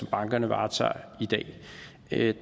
bankerne varetager i dag